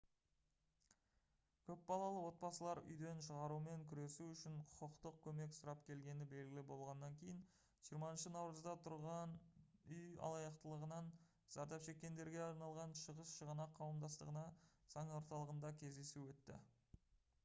көп балалы отбасылар үйден шығарумен күресу үшін құқықтық көмек сұрап келгені белгілі болғаннан кейін 20 наурызда тұрғын үй алаяқтығынан зардап шеккендерге арналған шығыс шығанақ қауымдастығының заң орталығында кездесу өтті